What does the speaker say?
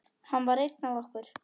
Hann var einn af okkur.